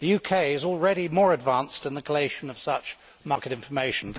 The UK is already more advanced in the collation of such market information.